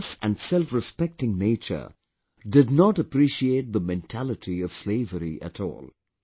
His fearless and selfrespecting nature did not appreciate the mentality of slavery at all